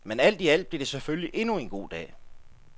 Men alt i alt blev det selvfølgelig endnu en god dag.